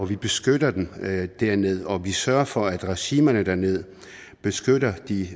vi beskytter dem dernede og at vi sørger for at regimerne dernede beskytter de